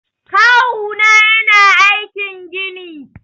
Kawuna yana aikin gini.